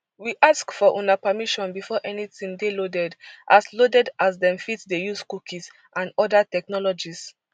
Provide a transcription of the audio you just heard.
we ask for una permission before anytin dey loaded as loaded as dem fit dey use cookies and oda technologies